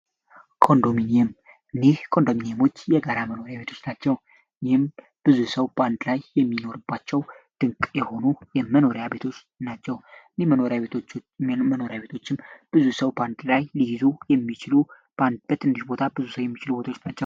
ለኮንዶሚኒየም እኒህ ኮንዶሚኒየሞች የጋራ መኖሪያ ቤቶች ናቸው ይህም ብዙ ሰው በአንድ ላይ የሚኖርባቸው ድንቅ የሆኑ የመኖሪያ ቤት ናቸው ኖሪያመኖሪያ ቤቶችም ብዙ ሰው በአንድ ላይ ሊይዙ የሚችሉ በአንድ በትንሽ ቦታ ብዙ ሰው የሚችሉ ቦታዎች ናቸው።